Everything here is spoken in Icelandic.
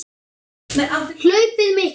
Hlaupið mikla